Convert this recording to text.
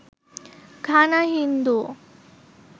Ghana Hindu